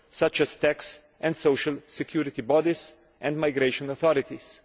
such as tax and social security bodies and migration authorities.